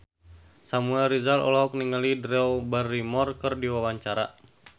Samuel Rizal olohok ningali Drew Barrymore keur diwawancara